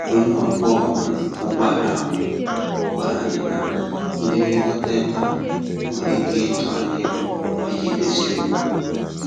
Onye ọkwọ um ụgbọala ahụ gwàrà anyị na ndị nlekọta ebe a nwere ike ịtụ anya ego iji dozie okwu